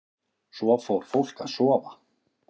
Svo fór fólk að sofa.